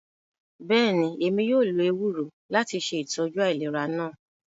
Bẹẹni, Emi yóò lo ewuro lati ṣe itọju ailera naa.